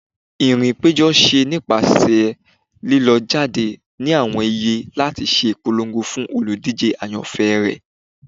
irìn ipejo ṣe nipasẹ lilọ jade ni awọn iyé lati ṣe ipolongo fun olúdije ayanfẹ rẹ.